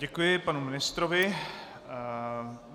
Děkuji panu ministrovi.